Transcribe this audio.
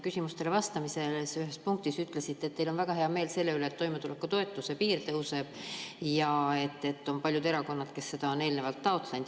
Küsimustele vastamisel te ühes punktis ütlesite, et teil on väga hea meel selle üle, et toimetulekupiir tõuseb, ja et on paljud erakonnad, kes seda on eelnevalt taotlenud.